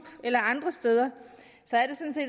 eller andre steder